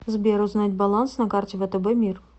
сбер узнать баланс на карте втб мир